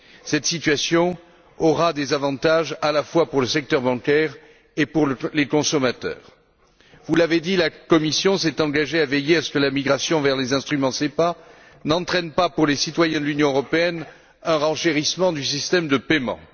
Cette situation aura des avantages à la fois pour le secteur bancaire et pour les consommateurs. Vous l'avez dit, la Commission s'est engagée à veiller à ce que la migration vers les instruments SEPA n'entraîne pas, pour les citoyens de l'Union européenne, un renchérissement du système de paiement.